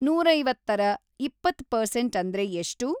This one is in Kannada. ನೂರೈವತ್ತರ ಇಪ್ಪತ್‌ ಪರ್ಸೆಂಟ್‌‌ ಅಂದ್ರೆ ಎಷ್ಟು